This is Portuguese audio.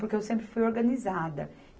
Porque eu sempre fui organizada.